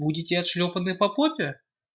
будете отшлёпаны по попе